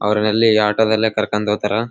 ಅವರು ಅಲ್ಲಿ ಆಟೋ ದಲ್ಲಿ ಕರ್ಕೊಂಡು ಹೋಗ್ತಾರಾ.